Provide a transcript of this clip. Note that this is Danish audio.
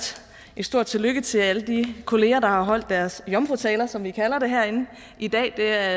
et stort tillykke til alle de kolleger der har holdt deres jomfrutaler som vi kalder det herinde i dag det er